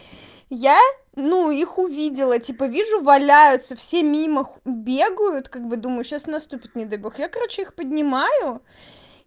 я ну их увидела типа вижу валяются все мимо бегают как бы думаю сейчас наступит не дай бог я короче их поднимаю